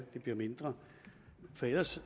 det blev mindre ellers